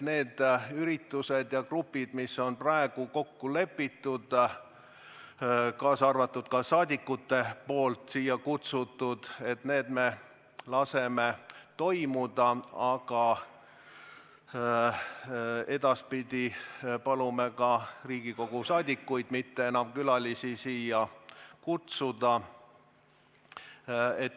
Need üritused ja gruppide tulekud, mis on juba kokku lepitud, kaasa arvatud need, mis rahvasaadikud on siia kutsunud, me laseme toimuda, aga edaspidi palume Riigikogu liikmetel mitte enam külalisi siia kutsuda.